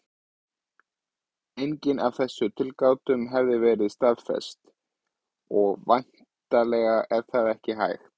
Engin af þessum tilgátum hefur verið staðfest, og væntanlega er það ekki hægt.